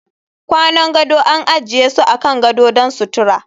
Kwanan gado an ajiye su akan gadon don sutura